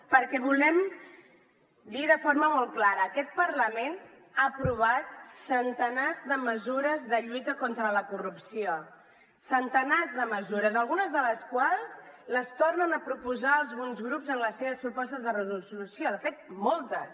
perquè volem dir de forma molt clara aquest parlament ha aprovat centenars de mesures de lluita contra la corrupció centenars de mesures algunes de les quals les tornen a proposar alguns grups en les seves propostes de resolució de fet moltes